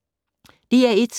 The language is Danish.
DR1